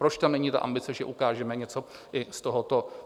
Proč tam není ta ambice, že ukážeme něco i z tohoto?